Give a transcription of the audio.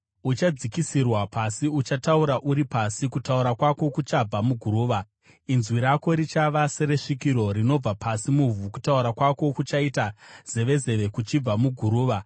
Uchadzikisirwa pasi, uchataura uri pasi; kutaura kwako kuchabva muguruva. Inzwi rako richava seresvikiro rinobva pasi muvhu; kutaura kwako kuchaita zevezeve kuchibva muguruva.